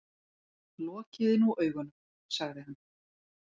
Lokiði nú augunum, sagði hann.